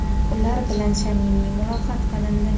ular bilan samimiy muloqot qilindi.